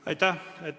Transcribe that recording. Aitäh!